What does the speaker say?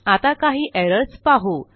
आता काही एरर्स पाहू